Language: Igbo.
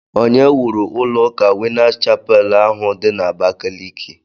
Onye wuru ụlọ ụka winners chapel ahụ di na Abakaliki?